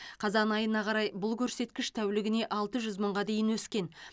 қазан айына қарай бұл көрсеткіш тәулігіне алты жүз мыңға дейін өскен